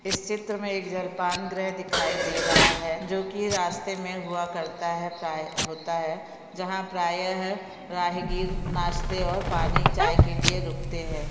इस चित्र मे एक जलपानगृह दिखाई दे रहे है जो की रास्ते मे हुआ करता है प्राय होता है जहाँ प्राया है प्रहिगिर नाश्ते और पानी चाय के लिए रुकते है।